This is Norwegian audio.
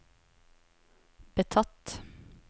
betatt